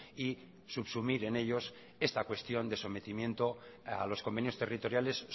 y subsumir en ellos esta cuestión de sometimiento a los convenios territoriales